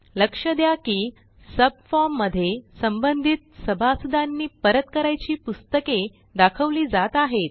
लक्ष द्या की सबफॉर्म मध्ये संबंधित सभासदांनी परत करायची पुस्तके दाखवली जात आहेत